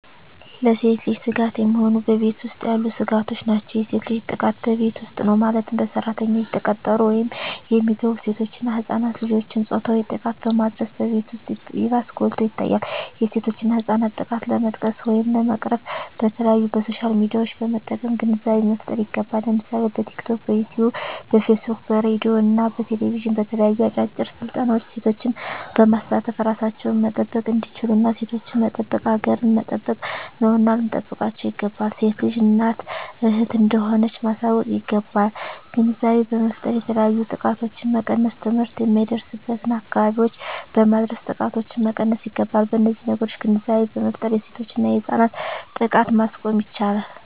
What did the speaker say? ለሴት ልጅ ስጋት የሚሆኑ በቤት ውስጥ ያሉ ስጋቶች ናቸው። የሴት ልጅ ጥቃት በቤት ውስጥ ነው ማለትም በሰራተኝነት የተቀጠሩ ወይም የሚገቡ ሴቶች እና ህፃናት ልጆችን ፆታዊ ጥቃትን በማድረስ በቤት ውስጥ ይባስ ጎልቶ ይታያል የሴቶችና ህፃናት ጥቃት ለመቀነስ ወይም ለመቅረፍ በተለያዪ በሶሻል ሚዲያዎችን በመጠቀም ግንዛቤ መፍጠር ይገባል ለምሳሌ በቲክቶክ, በዩቲቪ , በፌስቡክ በሬድዬ እና በቴሌቪዥን በተለያዩ አጫጭር ስልጠናዎች ሴቶችን በማሳተፍ እራሳቸውን መጠበቅ እንዲችሉና ሴቶችን መጠበቅ ሀገርን መጠበቅ ነውና ልንጠብቃቸው ይገባል። ሴት ልጅ እናት እህት እንደሆነች ማሳወቅ ይገባል። ግንዛቤ በመፍጠር የተለያዩ ጥቃቶችን መቀነስ ትምህርት የማይደርስበትን አካባቢዎች በማድረስ ጥቃቶችን መቀነስ ይገባል። በነዚህ ነገሮች ግንዛቤ በመፍጠር የሴቶችና የህፃናት ጥቃትን ማስቆም ይቻላል።